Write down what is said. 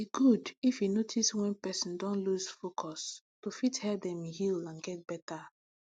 e good if you fit notice wen person don loose focus to fit help dem heal and get better